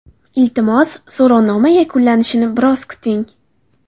Iltimos, so‘rovnoma yuklanishini biroz kuting.